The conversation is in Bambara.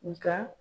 Nga